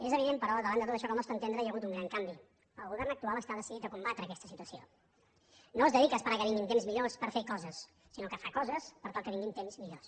és evident però davant de tot això que al nostre entendre hi ha hagut un gran canvi el govern actual està decidit a combatre aquesta situació no es dedica a esperar que vinguin temps millors per fer coses sinó que fa coses per tal que vinguin temps millors